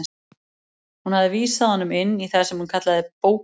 Hún hafði vísað honum inn í það sem hún kallaði bóka